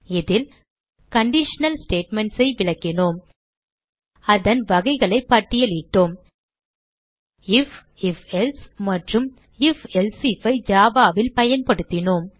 இதில் conditional statements ஐ விளக்கினோம் அதன் வகைகளை பட்டியலிட்டோம் ஐஎஃப் ifஎல்சே மற்றும் ifஎல்சே if ஐ Java ல் பயன்படுத்தினோம்